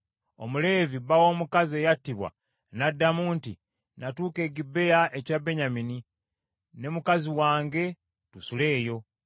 Omuleevi bba w’omukazi eyattibwa n’addamu nti, “Natuuka e Gibea ekya Benyamini, ne mukazi wange, tusule eyo.